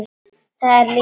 Það er lífsins gangur.